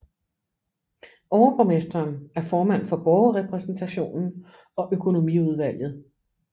Overborgmesteren er formand for borgerrepræsentationen og økonomiudvalget